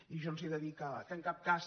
i jo els he de dir que en cap cas